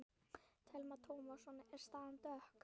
Telma Tómasson: Er staðan dökk?